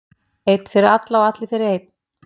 Einn fyrir alla og allir fyrir einn.